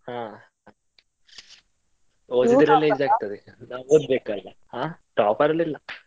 ಹಾ, ಓದಿದ್ರೆ ನಾವ್ ಓದ್ಬೇಕ್ ಅಲ್ಲ ಆಹ್ topper ಎಲ್ಲ ಇಲ್ಲ.